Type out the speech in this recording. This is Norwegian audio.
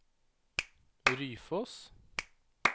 Ryfoss